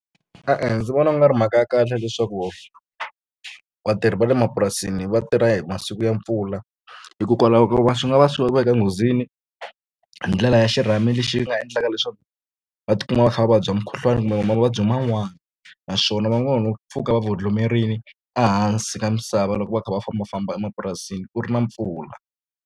E-e ndzi vona ku nga ri mhaka ya kahle leswaku vatirhi va le mapurasini vatirha hi masiku ya mpfula hikokwalaho ko ka swi nga va swi veka nghozini hi ndlela ya xirhami lexi yi nga endlaka leswaku va tikuma va kha va vabya mukhuhlwani kumbe va mavabyi man'wani naswona va nga ha no pfuka va vhodlomerile ehansi ka misava loko va kha va fambafamba emapurasini ku ri na mpfula.